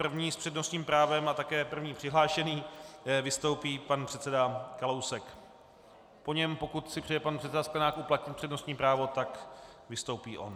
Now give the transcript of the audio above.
První s přednostním právem a také první přihlášený vystoupí pan předseda Kalousek, po něm, pokud si přeje pan předseda Sklenák uplatnit přednostní právo, tak vystoupí on.